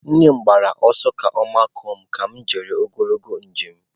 Nne m gbara ọsọ ka ọ makụọ m ka m jechara ogologo njem.